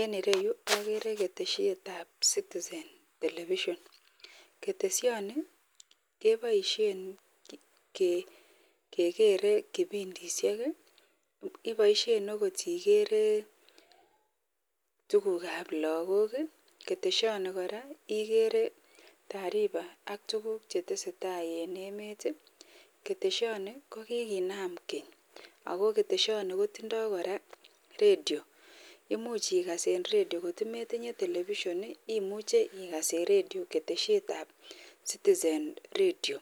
En ireyu agere keteshet ab citizen telebishon ,keteshin kebaishen kekere kibindishek akobaishen okot igere tuguk ab logok keteshoni kora ko igere tarifa AK tuguk chetesetai en emet keteshoni kokinam geny ak ooh keteshoni koraa kotinye redio imuch ikas en redio kotimetinnye television imuche igas en redio keteshet ab citizen redio